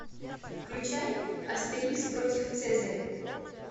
включай астерикс против цезаря